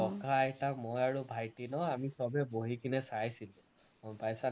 ককা. আইতা, মই আৰু ভাইটী ন আমি সৱেই বহি কিনে চাইছিলো, গম পাইছানে?